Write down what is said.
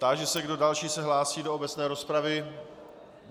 Táži se, kdo další se hlásí do obecné rozpravy.